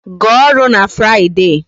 Gaa ọrụ na Friday